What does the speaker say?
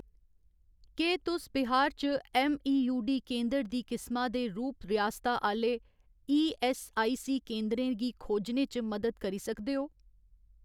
केह् तुस बिहार च ऐम्मईयूडी केंदर दी किसमा दे रूप रियासता आह्‌‌‌ले ईऐस्सआईसी केंदरें गी खोजने च मदद करी सकदे ओ?